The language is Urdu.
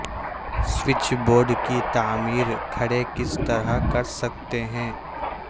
سوئچ بورڈز کی تعمیر کھڑے کس طرح کر سکتے ہیں